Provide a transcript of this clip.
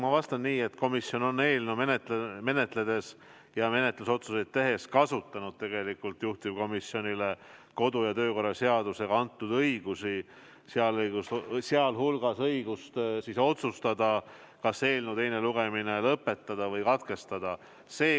Ma vastan nii, et komisjon on eelnõu menetledes ja menetlusotsuseid tehes kasutanud juhtivkomisjonile kodu- ja töökorra seadusega antud õigusi, sealhulgas õigust otsustada, kas eelnõu teine lugemine lõpetada või katkestada.